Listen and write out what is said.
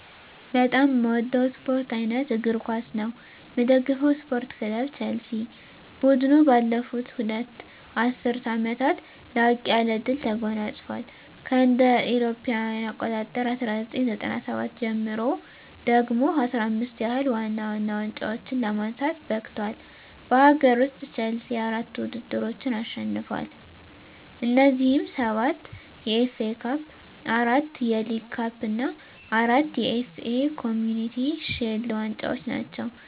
በጣም ምወደው ስፓርት አይነት እግር ኳስ ነው። ምደግፈው ስፓርት ክለብ ቸልሲ። ቡድኑ ባለፉት ሁለት ዐሥርት ዓመታት ላቅ ያለ ድል ተጎናጽፏል። ከእ.ኤ.አ 1997 ጀምሮ ደግሞ 15 ያህል ዋና ዋና ዋንጫዎችን ለማንሳት በቅቷል። በአገር ውስጥ፣ ቼልሲ አራት ውድድሮችን አሸንፏል። እነዚህም፤ ሰባት የኤፍ ኤ ካፕ፣ አራት የሊግ ካፕ እና አራት የኤፍ ኤ ኮምዩኒቲ ሺልድ ዋንጫዎች ናቸው።